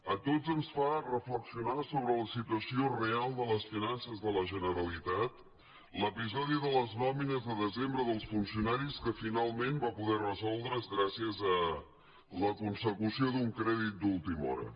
a tots ens fa reflexionar sobre la situació real de les finances de la generalitat l’episodi de les nòmines de desembre dels funcionaris que finalment va poder resoldre’s gràcies a la consecució d’un crèdit d’última hora